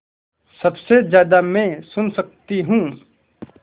सबसे ज़्यादा मैं सुन सकती हूँ